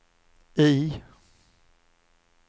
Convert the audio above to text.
I